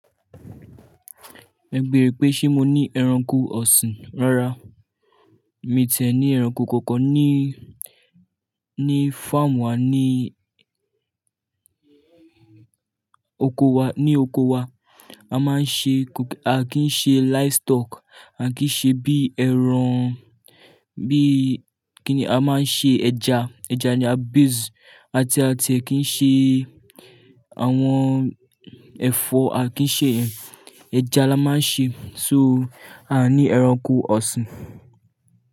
Ẹ béèrè pé ṣé mo ní ẹranko ọ̀sìn. Rárá, mi tìẹ ní ẹranko kankan níí, ní farm wa níí oko wa, ní oko wa. A máa ń ṣe, a kì í ṣe livestock, a kì í ṣe bí ẹran, bí, kí ni, a máa ń ṣe ẹja, ẹja ni à base, àti a kì í ṣe àwọn ẹ̀fọ́, a kì í ṣe ẹ ẹja la máa ń ṣe. So, a ní ẹranko ọ̀sìn.